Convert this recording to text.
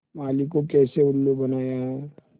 माली को कैसे उल्लू बनाया है